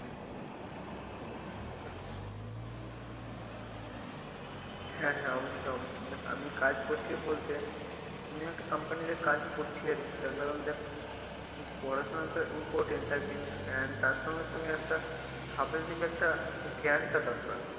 হ্যাঁ হ্যাঁ অবশ্যই অবশ্যই দেখ আমি কাজ করছি বলতে আমি একটা company তে কাজ করছি আর কি তার কারণ দেখ পড়াশোনা তো important তার কি আহ তার সঙ্গে সঙ্গে একটা একটা জ্ঞান টা দরকার,